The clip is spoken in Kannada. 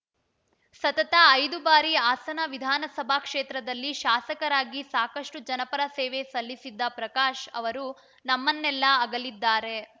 ಸತತ ಐದು ಬಾರಿ ಹಾಸನ ವಿಧಾನಸಭಾ ಕ್ಷೇತ್ರದಲ್ಲಿ ಶಾಸಕರಾಗಿ ಸಾಕಷ್ಟುಜನಪರ ಸೇವೆ ಸಲ್ಲಿಸಿದ್ದ ಪ್ರಕಾಶ್‌ ಅವರು ನಮ್ಮನ್ನೆಲ್ಲ ಅಗಲಿದ್ದಾರೆ